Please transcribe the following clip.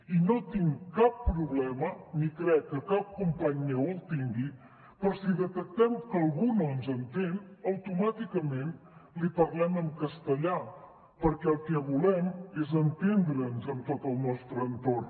i no tinc cap problema ni crec que cap company meu el tingui per si detectem que algú no ens entén automàticament li parlem en castellà perquè el que volem és entendre’ns amb tot el nostre entorn